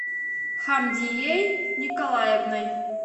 хамдией николаевной